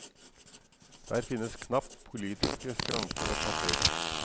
Der finnes knapt politiske skranker å passere.